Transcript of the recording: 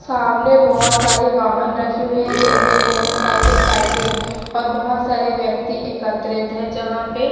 सामने बहोत सारे वाहन रखी हुईं है जिनमे मोटरसाइकल साइकिल और बहोत सारे व्यक्ति एकत्रित हैं जहां पे--